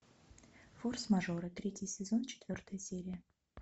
форс мажоры третий сезон четвертая серия